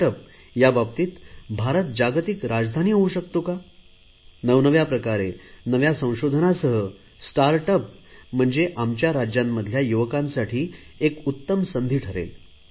start up या बाबतीत भारत जागतिक राजधानी होऊ शकतो का नवनव्या प्रकारे नव्या संशोधनासह स्टार्ट अप म्हणजे आमच्या राज्यांमधल्या युवकांसाठी एक उत्तम संधी ठरेल